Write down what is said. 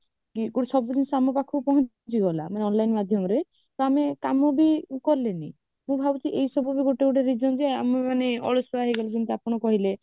ସବୁ ଜିନିଷ ଆମ ପାଖକୁ ପହଞ୍ଚି ଯିବ ନା online ମାଧ୍ୟମରେ ତ ଆମେ କାମ ବି କଲେ ନି ମୁଁ ଭାବୁଛି ଏ ସବୁ ବି ଗୋଟେ ଗୋଟେ reason ଯେ ଆମେ ମାନେ ଅଳସୁଆ ହେଇଗଲୁ ଯେମିତି ଆପଣ କହିଲେ